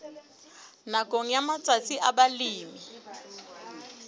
nakong ya matsatsi a balemi